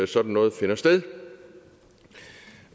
sådan noget finder sted